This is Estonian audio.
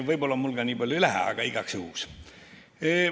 Võib-olla mul nii palju vaja ei lähegi, aga igaks juhuks.